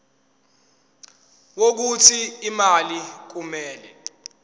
wokuthi imali kumele